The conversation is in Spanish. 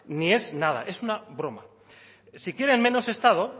ni es nada es una broma si quieren menos estado